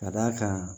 Ka d'a kan